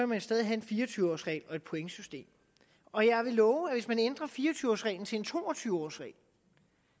man stadig have en fire og tyve års regel og et pointsystem og jeg vil love at hvis man ændrer fire og tyve års reglen til en to og tyve års regel